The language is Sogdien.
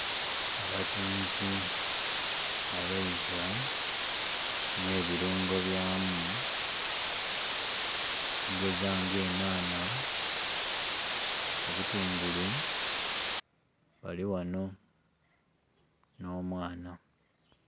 Abatunzi abeiva ne birungo byamu okugeza nga enanha, obutungulu bali ghano n'omwana.